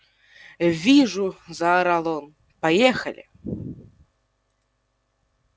вижу заорал он поехали